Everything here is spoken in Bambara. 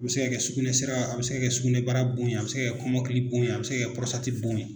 A bɛ se ka kɛ sugunɛ sira a bɛ se ka kɛ sugunɛ bara bon ye a bɛ se ka kɛ kɔmɔkili bon ye a bɛ se ka kɛ bon ye.